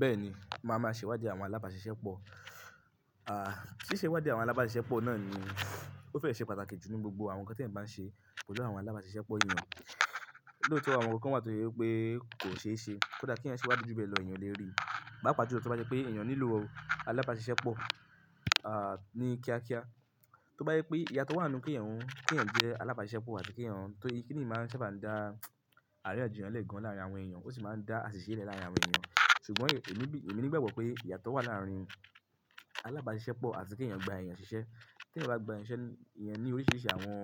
Bẹ́ẹ̀ni, mà máa ṣèwádìí àwọn alábàáṣiṣẹ́ pọ̀. Àh, ṣíṣe ìwádìí àwọn alábàáṣiṣẹ́ pọ̀ náà ni ó fẹ́ ṣe pàtàkì jù ní gbogbo àwọn nǹkan tí ẹ̀ ń bá ṣe pẹ̀lú àwọn alábàáṣiṣẹ́ eeyan. Lóòótọ́ àwọn kan wà tó ṣe pé kò ṣe é ṣe, kódà kí ẹ̀ yẹn ṣèwádìí ju bẹ́ẹ̀ lọ èèyàn lè rí. Papàá jùlọ tí ó bá jẹ́ pé èèyàn nílò àwọn alábàáṣiṣẹ́ pọ̀, à, ní kíákíá. Tó bá jẹ́ pé ìyàtọ̀ wà ké èèyàn jẹ́ alábàáṣiṣẹ́ pọ̀ àti k'èèyàn tóri, kí ni máa ń sábà dá àríyánjiyan gan láàrín àwọn èèyàn ó sì máa ń dá àṣìṣe láàrín àwọn èèyàn. Ṣùgbọ́n èmi ní, èmi ní gbàgbọ́ pé ìyàtọ̀ wà láàrín alábàáṣiṣẹ́ pọ̀ àti k'èèyàn gba èèyàn ṣiṣẹ́. T'èèyàn bá gba èèyàn ṣiṣẹ́, èèyàn ní oríṣiríṣi àwọn,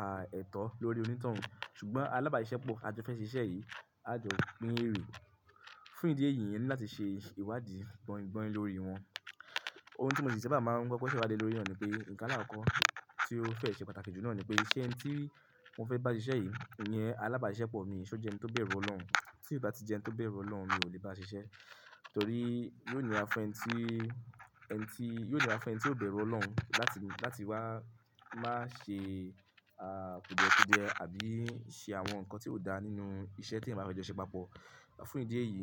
à, ẹ̀tọ́ lórí onítòun. Ṣùgbọ́n alábàáṣiṣẹ́ pọ̀ tí afe jo ṣe iṣẹ́ yìí, a jọ pin ére. Fún ìdí èyí, èèyàn ní láti ṣe ìwádìí gbọ́ingbọ́in lórí wọn. Ohun tí mo sì sábà máa ń kọ́kọ́ sawadi le lórí naa ni pé, nǹkan alákokọ́ tí ó fẹ́ ṣe pàtàkì jù náà ni pé, ṣé ẹni tí wọ́n fẹ́ bá ṣiṣẹ́ yìí, ìyẹn alábàáṣiṣẹ́ pọ̀ ni, ṣé ó jẹ́ ẹni tó bẹ̀rù Ọlọ́run? Tí kò bá tí jẹ́ ẹni tó bẹ̀rù Ọlọ́run ni, mi ò lè bá ṣiṣẹ́. Torí yóò níra fun ẹni tí, ẹni tí, yóò níra fun ẹni tí kó bẹ̀rù Ọlọ́run láti, láti wá máa ṣe, à, kùdiẹ́kùdiẹ́ àbí ṣe àwọn nǹkan tí kó dá nínú iṣẹ́ tí eeyan ba fẹ́ jọ ṣíṣe papọ̀. Fún ìdí èyí,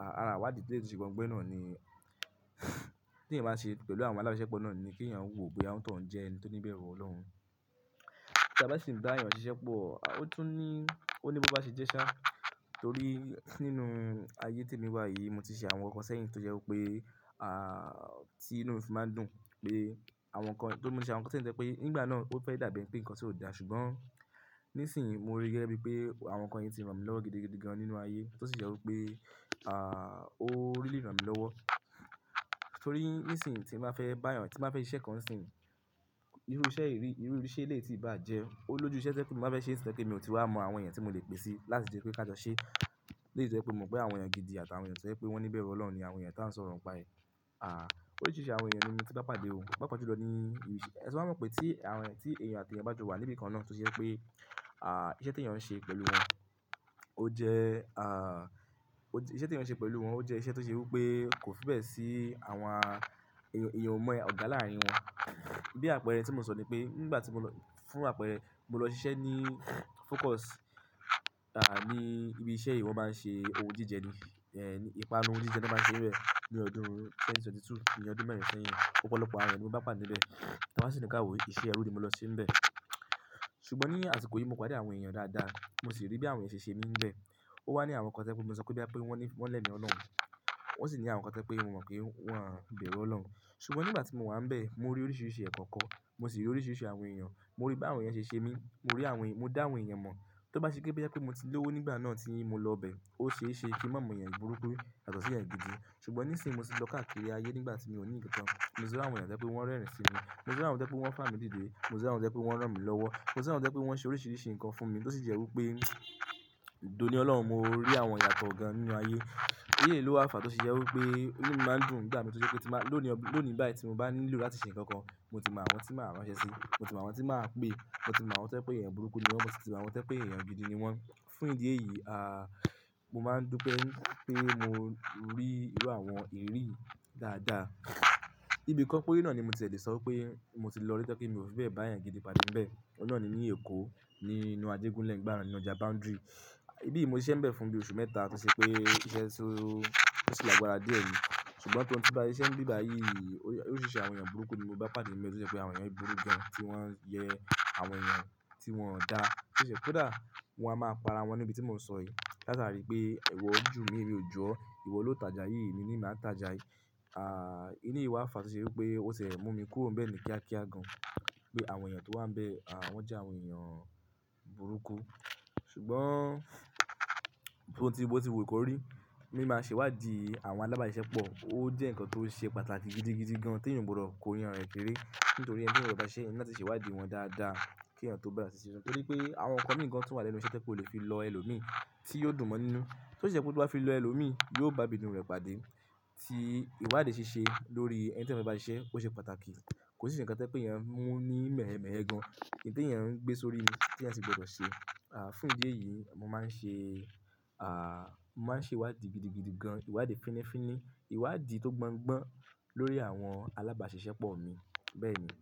à, àrà ìwádìí tó lè tó ṣe gbọ́in gbọ́in náà ni tí èèyàn bá ṣe pẹ̀lú àwọn alábàáṣiṣẹ́ pọ̀ náà ni kí èèyàn wo boya onitoun jẹ́ ẹni tó ní bẹ̀rù Ọlọ́run. Ta bá sì ń bá èèyàn ṣiṣẹ́ pọ̀, ó tún ní, ó ní bo ba ṣe jẹ́ ṣá. Torí nínú ayé tí èmi wà yìí, mo ti ṣe àwọn nkanǹkan sẹ́yìn tó jẹ́ pé, àa, tí inú mi máa ń dùn pé àwọn nǹkan, tó mú mi ṣe àwọn nǹkan tí ń jẹ́ pé nígbà náà ó fẹ́ dàbí ẹni pé nǹkan tí ò dáa ṣùgbọ́n nísìínyi mo ríi gẹ́gẹ́ bíi pé àwọn nǹkan yìí ti ràn mí lọ́wọ́ gidi, gidi gan nínú ayé tó sì jẹ́ wí pé, à, ó ríli ràn mí lọ́wọ́. Torí nísìínyi tí màá fẹ́ bá èèyàn, tí màá fẹ́ ṣe iṣẹ́ kan nisìnyìí, irú iṣẹ́ yìí, irú iṣẹ́ èléyi tí ì bá jẹ́, ó lójú iṣẹ́ to je pe ti ń ba fe se nisinyii to je pe mi ò ti wá mọ àwọn èèyàn tí mo lè pè síi láti jẹ́ kí a jọ ṣe. Léyìí jẹ́ wí pé mo mọ̀ pé àwọn èèyàn gidi àti àwọn èèyàn ṣẹ́ pé wọ́n ní bẹ̀rù Ọlọ́run ni àwọn èèyàn tí à ń sọ̀rọ̀ pà ẹ́. À, oríṣiríṣi àwọn èèyàn ni mí tí bá pàdé ò. Papa ju lọ ní irú iṣẹ́, ti mo ba mọ̀n pé tí àwọn èèyàn, tí èèyàn àti èèyàn bá ju wà níbi kan náà tó je pé, à, iṣẹ́ tí èèyàn ń ṣe pẹ̀lú wọn ó jẹ́, à, iṣẹ́ tí èèyàn ń ṣe pẹ̀lú wọn ó jẹ́ iṣẹ́ tó ṣe wí pé kò fi bẹ́ẹ̀ sí àwa èèyàn, èèyàn ò mọ ọ̀gá láàrín wọn. Bí àpẹẹrẹ tí mo sọ ni pé nígbà tí mo lọ, fún àpẹẹrẹ mo lọ ṣiṣẹ́ ní Focus, à, ní ibi iṣẹ́ yi wọ̀n máa ń ṣe ohun jíjẹ ni, è, ìpanu ohun jíjẹ ni wọ́n máa ń ṣe nibẹ́ẹ̀ ní ọdún 2022, ní ọdún mẹ́rin seyìn. Ọ̀pọ̀lọpọ̀ àwọn èèyàn ni mo bá pàdé níbẹ̀, ti a ba si ni ki a woo, iṣẹ́ ò ru mi lọ síbẹ̀. Ṣùgbọ́n ní àsìkò yìí mo pade àwọn èèyàn dáadáa, mo sì rí bí àwọn èèyàn ṣe ṣe níbẹ̀. Ó wá ní àwọn nǹkan tẹ́ pé mo ti sọ pé bí wọ́n lẹ́emi Ọlọ́run. Wọ́n sì ní àwọn kan to je pé mo mọ̀ pé wọ́ń bẹ̀rù Ọlọ́run. Ṣùgbọ́n nígbà tí mo wà níbẹ̀, mo rí oríṣiríṣi ẹ̀kọ̀ ko, mo sì rí oríṣiríṣi àwọn èèyàn, mo rí bí àwọn èèyàn ṣe ń ṣe mí, mo rí àwọn, mo dá àwọn èèyàn mọ̀n. Tó bá ṣe jé pé mo ti lòwó nígbà náà tí mo lọ bẹ́ẹ̀, ó ṣe é ṣe kín ma mọ̀ èèyàn burúkú yato ṣi èèyàn gidi. Ṣùgbọ́n nísìínyi mo sì lọ káàkiri ayé nígbà tí mo ní nkankan, mo ti rí àwọn èèyàn to je pé wọ́n rẹ́rìn sí mi, mo sì rí àwọn to je pé wọ́n fà mí dìde, mo sì rí àwọn tẹ́ pé wọ́n ràn mí lọ́wọ́, mo sì rí àwọn tẹ́ pé wọ́n ṣe oríṣiríṣi nǹkan fún mi tó sì jẹ́ wí pé, d"òní Ọlọ́run, mo rí àwọn ìyàtọ̀ gan nínú ayé. Eleyii lo wabfàà tí ṣe jẹ́ wí pé inú mi máa ń dùn nígbà mi tó ṣe pé tí màá, lónìí, lónìí báyìí tí mo bá nílò láti ṣe ǹkan kan, mo ti mọ àwọn tí màá ránṣẹ́ sí, mo ti mọ àwọn tí màá pè, mo ti mọ àwọn tẹ́ pé èèyàn burúkú ni wọ́n, mo sì ti mọ àwọn tẹ́ pé èèyàn gidi ni wọ́n. Fún ìdí èyí, à, mo máa ń dùpé, pé mo rí irú àwọn irirí yii dáadáa. Ibi kan peree náà ni mo tiẹ̀ le sọ pé mo ti lọ rí tí mi ò fi bẹ́ẹ̀ bá èèyàn gidi pàdé níbẹ̀. Ọ̀hun náà ni ní Èkó nínú Ajégúnlẹ̀ nigbà naa ninu ọjà Boundary. Ibi yìí mo ṣiṣẹ́ níbẹ̀ fún bí oṣù mẹ́ta tí ṣe pé iṣẹ́ tó, tó sì lágbára díẹ̀ rí. Ṣùgbọ́n tí wọn ti bá ṣe ń bí báyìí, oríṣiríṣi àwọn èèyàn burúkú ni mo bá pàdé níbẹ̀ tí ó jẹ́ pé àwọn èèyàn burú gan tí wọ́n jẹ àwọn èèyàn tí wọ́n dá ṣíṣẹ́. Kódà wọ́n á máa pa ara wọn ní ibi tí mo sọ yìí látàrí pé iwọ̀ jú mi, emi ò ju o, ìwọ ló tajà yìí, èmi ni maa taja yii ni màá tajà yìí. À, inú ìwà àfàà tí ṣe wí pé ó ṣẹ̀ mú mi kúrò níbẹ̀ ni kíákíá gan. Pé àwọn èèyàn tí ẹ sì gbọdọ̀ sẹ. À, fún ìdí èyí, mo máa ń ṣe, à, mo máa ń ṣe ìwádìí gidigidi gan, ìwádìí fínnífínní, ìwádìí tó gbọ́ngbọ́n lórí àwọn alábàáṣiṣẹ́pọ̀ mi bẹ́ẹ̀ ni.